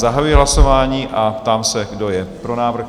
Zahajuji hlasování a ptám se, kdo je pro návrh?